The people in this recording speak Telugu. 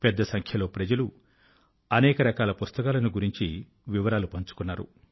పెద్ద సంఖ్య లో ప్రజలు అనేకరకాల పుస్తకాల ను గురించి వివరాల ను పంచుకున్నారు